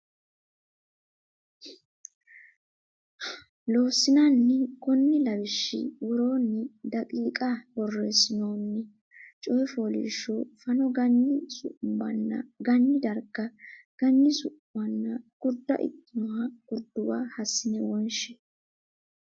Loossinanni Konni lawishshi woroonni daqiiqa borreessinoonni coy fooliishsho fano Ganyi Su muwanna Ganyi darga ganyi su manna gurda ikkannoha Gurduwa hassine wonshe.